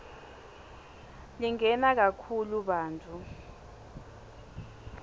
lingena kakhulu bantfu